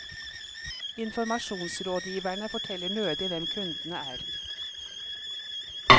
Informasjonsrådgiverne forteller nødig hvem kundene er.